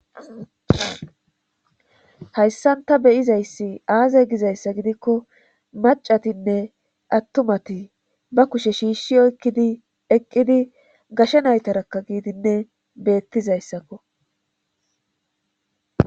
hayssan ta be'izayssi aaze gizayssa gidikko maccatinne attumati ba kushe shiishi oykkidi eqqidi gashe naytarakka ke'idinne beetizayssakko.